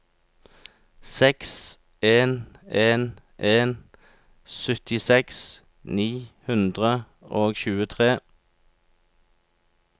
seks en en en syttiseks ni hundre og tjuetre